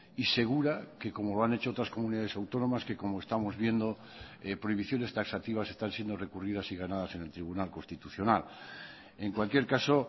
y segura que como lo han hecho otras comunidades autónomas que como estamos viendo prohibiciones taxativas están siendo recurridas y ganadas en el tribunal constitucional en cualquier caso